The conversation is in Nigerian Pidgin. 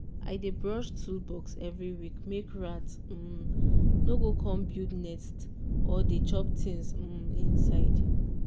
i dey brush toolbox every week make rat um no go come build nest or dey chop things um inside.